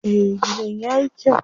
Eh, gidan yayi kyau.